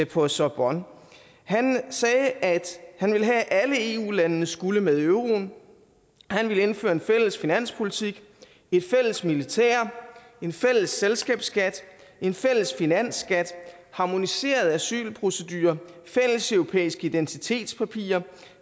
på sorbonne han sagde at han ville have at alle eu landene skulle med i euroen han ville indføre en fælles finanspolitik et fælles militær en fælles selskabsskat en fælles finansskat harmoniserede asylprocedurer fælles europæiske identitetspapirer